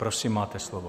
Prosím, máte slovo.